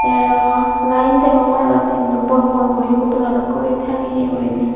tay aro light degongor aro tinno bor bor guri hodora dokken guri tangeye guriney.